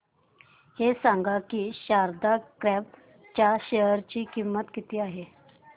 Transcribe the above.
हे सांगा की शारदा क्रॉप च्या शेअर ची किंमत किती आहे